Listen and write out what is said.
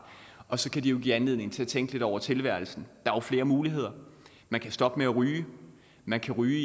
og så kan det jo give anledning til at tænke lidt over tilværelsen er jo flere muligheder man kan stoppe med at ryge man kan ryge